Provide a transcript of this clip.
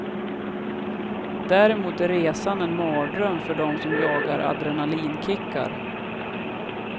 Däremot är resan en mardröm för dem som jagar adrenalinkickar.